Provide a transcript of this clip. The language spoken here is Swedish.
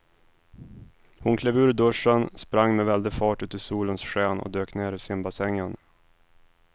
Hon klev ur duschen, sprang med väldig fart ut i solens sken och dök ner i simbassängen.